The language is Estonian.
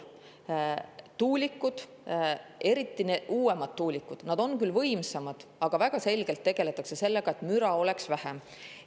Uuemad tuulikud on võimsamad, aga väga selgelt tegeldakse sellega, et müra oleks vähem.